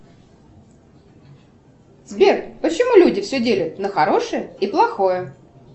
сбер почему люди все делят на хорошее и плохое